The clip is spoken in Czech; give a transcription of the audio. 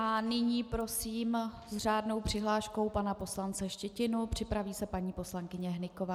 A nyní prosím s řádnou přihláškou pana poslance Štětinu, připraví se paní poslankyně Hnyková.